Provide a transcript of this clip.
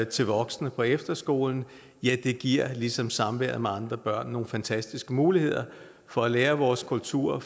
til voksne på efterskolen giver ligesom samværet med andre børn nogle fantastiske muligheder for at lære vores kultur at